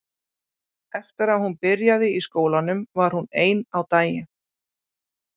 Eftir að hún byrjaði í skólanum var hún ein á daginn.